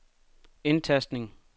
indtastning